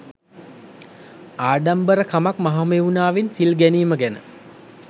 ආඩම්බර කමක් මහමෙව්නාවෙන් සිල් ගැනීම ගැන.